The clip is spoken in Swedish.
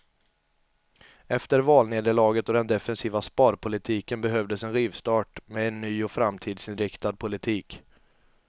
Efter valnederlaget och den defensiva sparpolitiken behövdes en rivstart med en ny och framtidsinriktad politik.